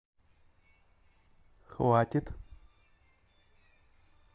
хватит